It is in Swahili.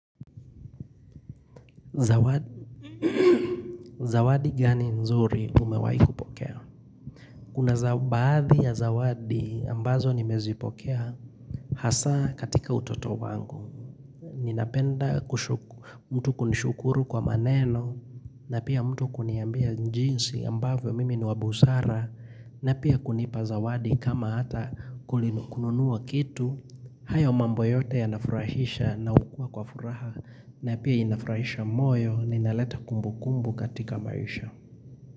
Zawadi gani nzuri umewaaikupokea? Kuna baadhi ya zawadi ambazo nimezipokea hasa katika utoto wangu. Ninapenda mtu kunishukuru kwa maneno na pia mtu kuniambia jinsi ambavyo mimi niwabusara na pia kunipa zawadi kama hata kulinukununua kitu. Hayo mambo yote ya nafurahisha na hukua kwa furaha na pia inafurahisha moyo na inaleta kumbu kumbu katika maisha.